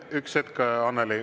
Üks hetk, Annely!